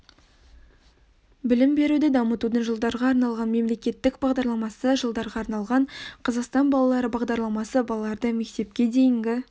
білім беруді дамытудың жылдарға арналған мемлекеттік бағдарламасы жылдарға арналған қазақстан балалары бағдарламасы балаларды мектепке дейінгі